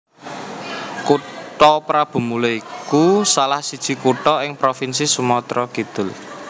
Kutha Prabumulih iku salah siji kutha ing Provinsi Sumatra Kidul